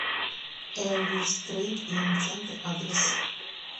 элвис трэйд ин центр адрес